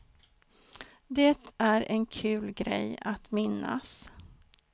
Det är en kul grej att minnas.